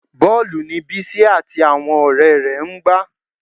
Bọ́ọ̀lù ni Bísí àti àwọn ọ̀rẹ́ rẹ̀ ń gbá